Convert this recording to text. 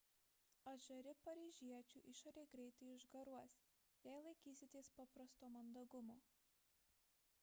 atžari paryžiečių išorė greitai išgaruos jei laikysitės paprasto mandagumo